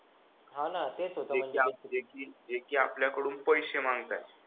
हा ना तेच होत माझ्या जे की आपल्याकडून पैसे मांगतायत